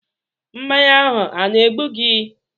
Mmanya ahụ a na-egbu gi?